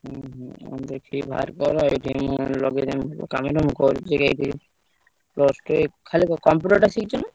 ହୁଁ ହୁଁ ଆଉ ଦେଖିକି ଭାର କର ଏ ଯୋଉ ମୁଁ ଲଗେଇଦେବି କାମରେ ମୁଁ କରୁଚି ଏଇଠି plus two ଏଇ ଖାଲି computer ଟା ଶିଖିଛୁ ନା?